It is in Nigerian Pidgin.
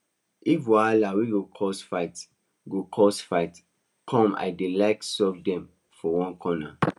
if wahala wey go cause fights go cause fights come i dey like solve them for one corner